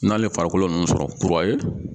N'ale farikolo ninnu sɔrɔ kura ye.